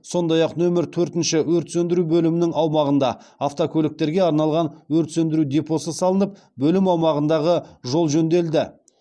сондай ақ нөмір төртінші өрт сөндіру бөлімінің аумағында автокөліктерге арналған өрт сөндіру депосы салынып бөлім аумағындағы жол жөнделді